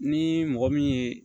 Ni mɔgɔ min ye